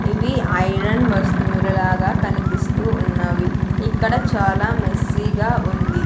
ఇవి ఐరన్ వస్తువులు లాగా కనిపిస్తూ ఉన్నవి ఇక్కడ చాలా మెస్సిగా ఉంది.